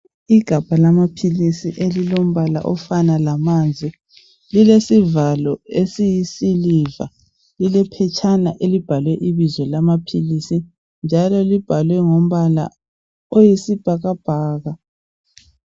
Igabha lamaphilisi elilombala ofana lamanzi lilesivalo esiyi siliva lile phetshana elibhalwe ibizo lamaphilisi njalo libhalwe ngombala oyisibhakabhaka.